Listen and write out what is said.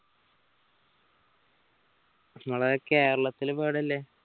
നമ്മളെ കേരളത്തിൽ ഇപ്പോ എവിടെയാ ഉള്ള